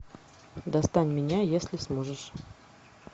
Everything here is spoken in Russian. достань меня если сможешь